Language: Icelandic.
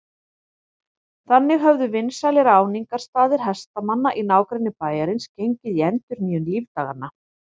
Þannig höfðu vinsælir áningarstaðir hestamanna í nágrenni bæjarins gengið í endurnýjung lífdaganna.